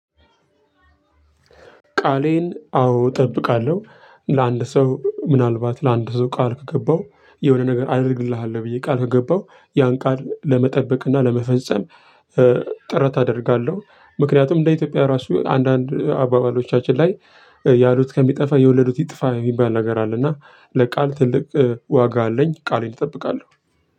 ቃሌን አዎ እጠብቃለሁ ለአንድ ሰው ምናልባት ለአንድ ሰው ቃል ከገባው የሆነ ነገር አድርግልሃል ብዬ ቃል ከገባው ያን ቃል ለመጠበቅ እና ለመፈጸም ጥረት አደርጋለሁ። ምክንያቱም እንደ ኢትዮጵያዊ ራሱ አንዳንድ አባባሎቻችን ላይ ያሉት ከሚጠፋ የወለዱት ይጥፋ የሚባል ነገር አለ። እና ለቃል ትልቅ ዋጋ አለኝ ቃሌን እጠብቃለሁ።